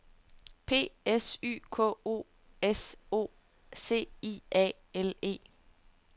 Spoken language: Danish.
P S Y K O S O C I A L E